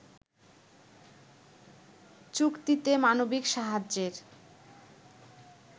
চুক্তিতে মানবিক সাহায্যের